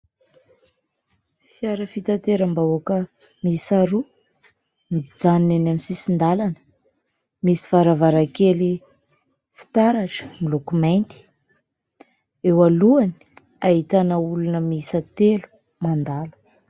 Fiara fitateram-bahoaka miisa roa nijanona any amin'ny sisin-dalana. Misy varavarankely fitaratra miloko mainty. Eo alohany ahitana olona miisa telo mandalo.